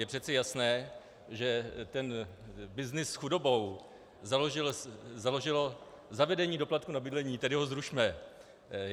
Je přece jasné, že ten byznys s chudobou založilo zavedení doplatku na bydlení - tedy ho zrušme.